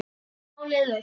Málið leyst.